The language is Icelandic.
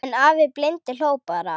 En afi blindi hló bara.